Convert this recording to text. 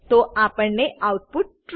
તો આપણને output true